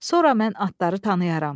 Sonra mən atları tanıyaram.